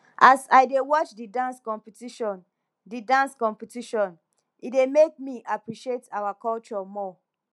as i dey watch di dance competition di dance competition e dey make me appreciate our culture more